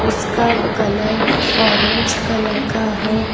उसका colour orange colour का है।